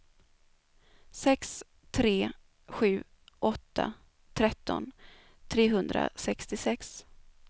sex tre sju åtta tretton trehundrasextiosex